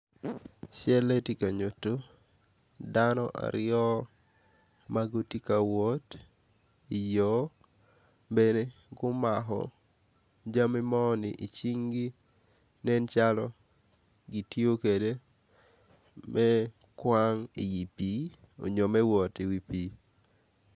Calle tye ka dano aryo ma gitye ka wot i yo bene gumako jami moni i cingi nen calo gityo kwede me kwan i pii onyo me wot i wi pii.